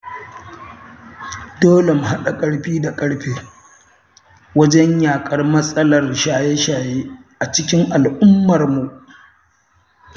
Dole mu haɗa ƙarfi da ƙarfe wajen yaƙar matsalar shaye-shaye a cikin al'ummarmu.